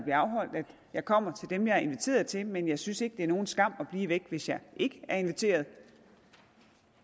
jeg kommer til dem jeg er inviteret til men jeg synes ikke det er nogen skam at blive væk hvis jeg ikke er inviteret